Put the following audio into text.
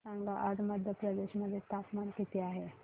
मला सांगा आज मध्य प्रदेश मध्ये तापमान किती आहे